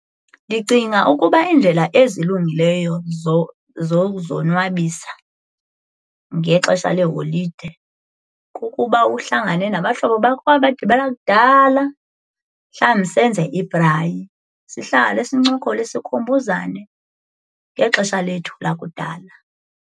Ndicinga ukuba iindlela ezilungileyo zokuzonwabisa ngexesha leeholide kukuba uhlangane nabahlobo bakho owabagqibela kudala mhlawumbi senze ibhrayi sihlale sincokole sikhumbuzane ngexesha lethu lakudala.